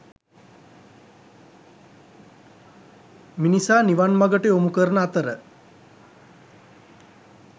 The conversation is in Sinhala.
මිනිසා නිවන් මඟට යොමු කරන අතර